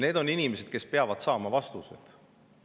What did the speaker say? Need on inimesed, kes peavad saama vastused.